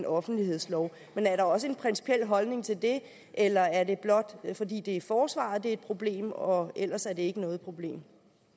offentlighedsloven men er der også en principiel holdning til det eller er det blot fordi det er i forsvaret det er et problem og ellers er det ikke noget problem